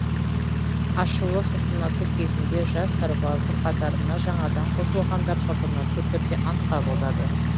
ашылу салтанаты кезінде жас сарбаздың қатарына жаңадан қосылғандар салтанатты түрде ант қабылдады